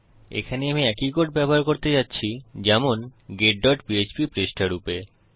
এখানে আমি একই কোড ব্যবহার করতে যাচ্ছি যেমন getপিএচপি পৃষ্ঠা রূপে